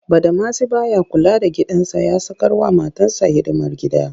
Badamasi ba ya kula da gidansa ya sakarwa matarsa hidimar gida